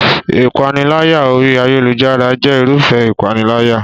Ìpániláyà orí ayélujára jẹ́ Irúfẹ́ ìpániláyà